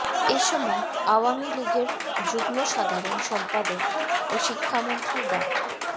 এ সময় আওয়ামী লীগের যুগ্ম সাধারণ সম্পাদক ও শিক্ষামন্ত্রী ডা